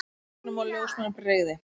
Og læknum og ljósmæðrum brygði.